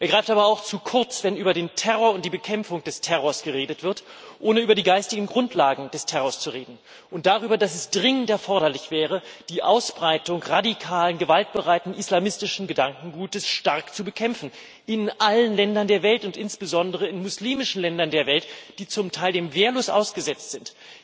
Er greift aber auch zu kurz, wenn über den Terror und die Bekämpfung des Terrors geredet wird, ohne über die geistigen Grundlagen des Terrors zu reden und darüber, dass es dringend erforderlich wäre, die Ausbreitung radikalen gewaltbereiten islamistischen Gedankengutes stark zu bekämpfen in allen Ländern der Welt und insbesondere in muslimischen Ländern der Welt, die dem zum Teil wehrlos ausgesetzt sind,